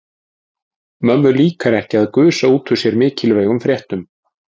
Mömmu líkar ekki að gusa út úr sér mikilvægum fréttum.